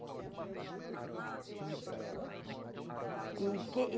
Era muito legal. E quem e